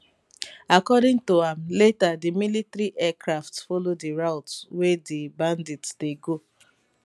according to am later di military aircraft follow di route wey di bandits dey go